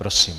Prosím.